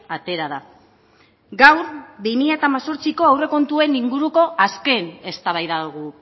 atera da gaur bi mila hemezortziko aurrekontuen inguruko azken eztabaida dugu